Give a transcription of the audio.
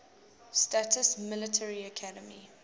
states military academy